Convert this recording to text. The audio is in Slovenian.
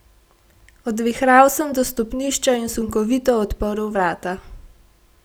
Odvihral sem do stopnišča in sunkovito odprl vrata.